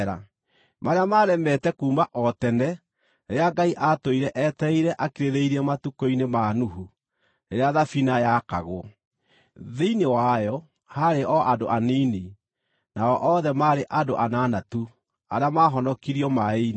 marĩa maaremete kuuma o tene rĩrĩa Ngai aatũire etereire akirĩrĩirie matukũ-inĩ ma Nuhu, rĩrĩa thabina yaakagwo. Thĩinĩ wayo haarĩ o andũ anini, nao othe maarĩ andũ anana tu, arĩa maahonokirio maaĩ-inĩ,